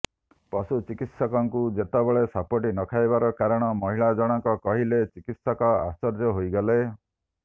ପଶୁ ଚିକିତ୍ସକଙ୍କୁ ଯେତେବେଳେ ସାପଟି ନଖାଇବାର କାରଣ ମହିଳା ଜଣକ କହିଲେ ଚିକିତ୍ସକ ଆଶ୍ଚର୍ଯ୍ୟ ହୋଇଗଲେ